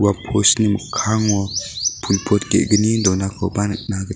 ua post-ni mikkango pul pot ge·gni donakoba nikna git--